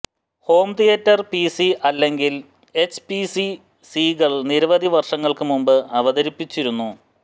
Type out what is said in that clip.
home theatre PC അല്ലെങ്കിൽ H P C സികൾ നിരവധി വർഷങ്ങൾക്ക് മുൻപ് അവതരിപ്പിച്ചിരുന്നു